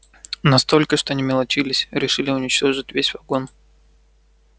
настолько что не мелочились решили уничтожить весь вагон